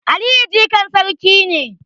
Aliyu jikan sarki ne